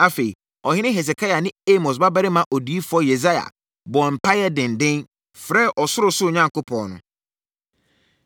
Afei, ɔhene Hesekia ne Amos babarima odiyifoɔ Yesaia bɔɔ mpaeɛ denden, frɛɛ ɔsorosoro Onyankopɔn no.